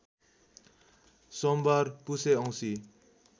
सोमबार पुसे औँसी